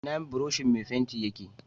Ina buroshin mai fenti yake